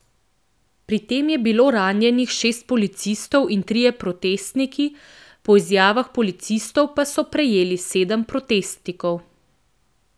Pri tem je bilo ranjenih šest policistov in trije protestniki, po izjavah policistov pa so prijeli sedem protestnikov.